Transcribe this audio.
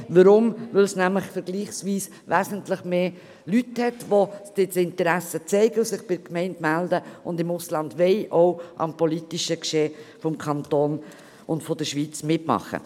Weshalb? – Weil es vergleichsweise mehr Personen hat, die Interesse zeigen und sich bei der Gemeinde melden, um im Ausland am politischen Geschehen im Kanton Bern und in der Schweiz teilzunehmen.